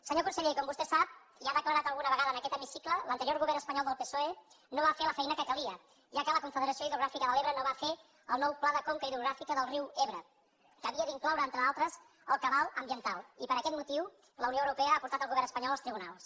senyor conseller com vostè sap i ha declarat alguna vegada en aquest hemicicle l’anterior govern espanyol del psoe no va fer la feina que calia ja que la confederació hidrogràfica de l’ebre no va fer el nou pla de conca hidrogràfica del riu ebre que havia d’incloure entre d’altres el cabal ambiental i per aquest motiu la unió europea ha portat el govern espanyol als tribunals